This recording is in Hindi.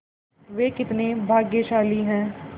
वे कितने भाग्यशाली हैं